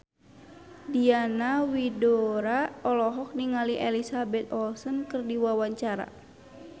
Diana Widoera olohok ningali Elizabeth Olsen keur diwawancara